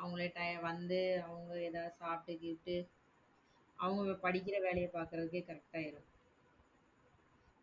அவங்களே time வந்து அவங்க ஏதாவது சாப்டுகிப்டு அவங்க படிக்கிற வேலையை பார்க்கிறதுக்கே correct ஆ இருக்கும்.